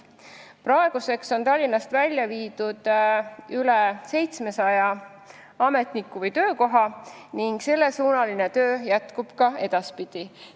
Praeguseks on Tallinnast välja viidud üle 700 ametniku või töökoha ning sellesuunaline töö jätkub ka edaspidi.